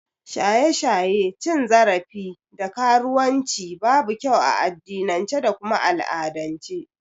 Shaye-shaye, cin zarafi da karuwan ci babu kyau a addinince da kuma al'adance